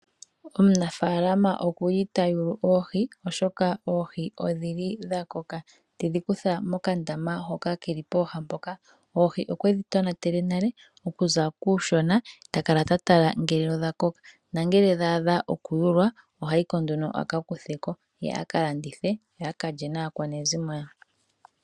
Omunafaalama okuli tayulu oohi oshoka oohi odhili dha koka. Tedhi kutha mokandama hoka keli pooha mpoka. Oohi okwedhi tonatele okuza kuushona. Takala ta tala ngele odha koka. Nangele dha adha okuyulwa. Ihayiko nduno aka kutheko ye akalandithe, ye aka lye naakwanezimo ye.